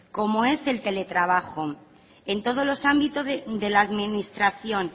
como es el teletrabajo en todos los ámbitos de la administración